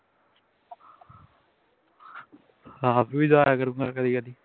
ਆਪ ਵੀ ਜਾਇਆ ਕਰੂੰਗਾ ਕਦੀ ਕਦੀ